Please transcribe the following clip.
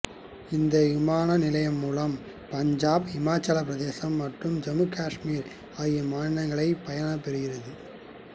இந்த விமான நிலையம் மூலம் பஞ்சாப் இமாச்சல பிரதேசம் மற்றும் ஜம்மு காஷ்மீர் ஆகிய மாநிலங்கள் பயன் பெறுகிறது